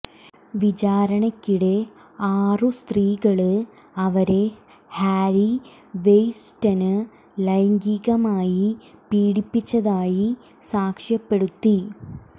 വിചാരണയ്ക്കിടെ ആറു സ്ത്രീകള് അവരെ ഹാര്വി വെയ്ന്സ്റ്റൈന് ലൈംഗികമായി പീഡിപ്പിച്ചതായി സാക്ഷിപ്പെടുത്തി